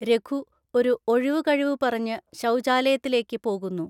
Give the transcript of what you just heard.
രഘു ഒരു ഒഴിവ്‌ കഴിവ് പറഞ്ഞ് ശൗചാലയത്തിലേക്ക് പോകുന്നു.